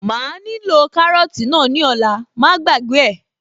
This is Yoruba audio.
Màá nílò kárọ́tì náà ní ọ̀la, má gbàgbé ẹ̀